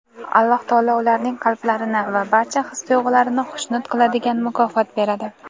Alloh taolo ularning qalblarini va barcha his-tuyg‘ularini xushnud qiladigan mukofot beradi.